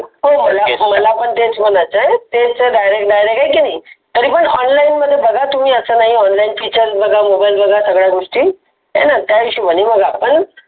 हो मला मला पण तेच म्हणायचं आहे. तेच ते direct direct आहे की नाही. तरी पण online बघा Features बघा सगळ्या गोष्टी हाय न त्याहिशोबणी आपण.